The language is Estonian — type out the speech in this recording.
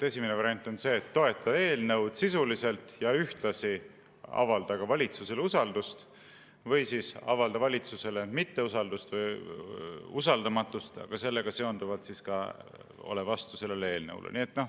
Esimene variant on see, et toeta eelnõu sisuliselt ja ühtlasi avalda valitsusele usaldust, või siis avalda valitsusele usaldamatust ja sellega seonduvalt oled vastu sellele eelnõule.